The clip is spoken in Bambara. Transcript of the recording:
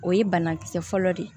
O ye banakisɛ fɔlɔ de ye